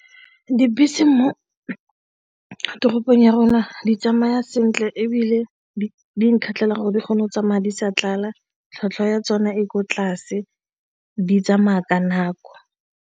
Dibese mo toropong ya rona di tsamaya sentle ebile di nkgatlhile gore di kgone go tsa madi sa tlala, tlhwatlhwa ya tsona e ko tlase, di tsamaya ka nako.